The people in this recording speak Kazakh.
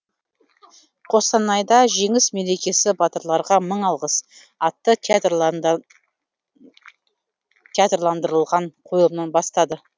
қостанайда жеңіс мерекесі батырларға мың алғыс атты театрландырылған қойылымнан бастады